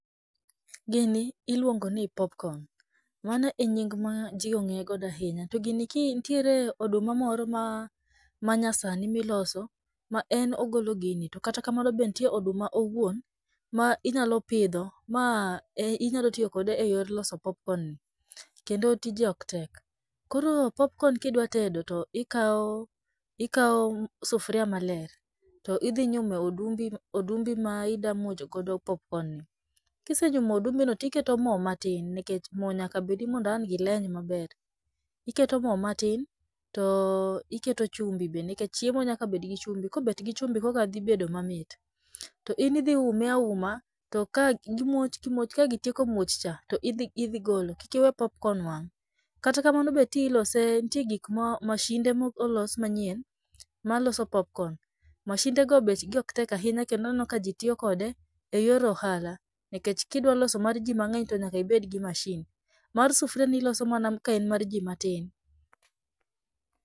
Gini iluongo ni popcorn. Mano e nying ma ji ong'eye godo ahinya. To gini ki nitiere oduma moro ma, ma nyasani miloso ma en ogolo gini. To kata kamano be nitie oduma owuon ma inyalo pidho ma ei nyalo tiyo kode eyor loso popcorn, kendo tije ok tek. Koro popcorn kidwa tedo to ikawo, ikawo sufria maler, to idhi nyume odumbi, odumbi ma idwa muocho godo [cs[popcorn ni. Kisenyumo odumbi no, tiketo mo matin, nikech mo nyaka bed mondo ang' gileny maber. Iketo mo matin to iketo chumbi be, nikech chiemo nyaka bed gi chumbi, kobet gi chumbi koka dhi bedo mamit. To in idhi ume auma to ka gimoch gimoch. Ka gitieko muoch cha, to idhi idhi golo. Kik iwe popcorn wang'. Kata kamano be ti ilose nitie gik ma, masinde mo olos manyien ma loso popcorn. Masinde go bech gi oktek ahinya kendo aneno ka ji tiyo kode eyor ohala, nikech ka idwa loso mar ji mang'eny to nyaka ibed gi masin. Mar sufria ni iloso mana ka en mar ji matin.